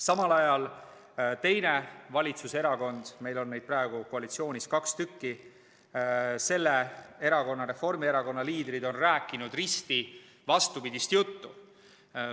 Samal ajal teise valitsuserakonna – meil on neid praegu koalitsioonis kaks –, Reformierakonna liidrid on rääkinud risti vastupidist juttu.